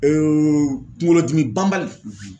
kuŋolodimi banbali